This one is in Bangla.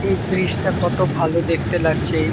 এই ব্রীজ -টা কত ভালো দেখতে লাগছে এই --